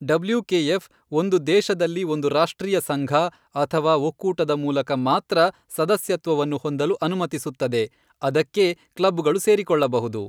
W K F ಒಂದು ದೇಶದಲ್ಲಿ ಒಂದು ರಾಷ್ಟ್ರೀಯ ಸಂಘ ಅಥವಾ ಒಕ್ಕೂಟದ ಮೂಲಕ ಮಾತ್ರ ಸದಸ್ಯತ್ವವನ್ನು ಹೊಂದಲು ಅನುಮತಿಸುತ್ತದೆ, ಅದಕ್ಕೇ ಕ್ಲಬ್ಗಳು ಸೇರಿಕೊಳ್ಳಬಹುದು.